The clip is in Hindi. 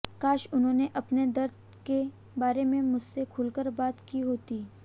काश उन्होंने अपने दर्द के बारे में मुझसे खुलकर बात की होती